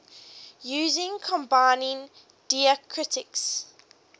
using combining diacritics